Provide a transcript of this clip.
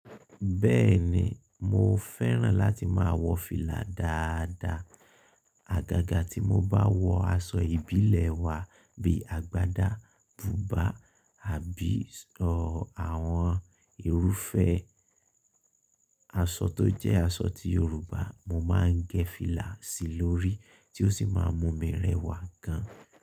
Bẹ́ẹ̀ni, mo fẹ́ràn láti máa wọ fìlà dáadáa. Àgágá tí mo bá wọ aṣọ ìbílẹ̀ wa bí i àgbàdá, bùbá àbí ṣọ àwọn irúfẹ́ aṣọ tó jẹ́ aṣọ ti Yorùbá, mo máa ń gẹ fìlà sí lórí tí ó sì máa mú mi rẹwà gan.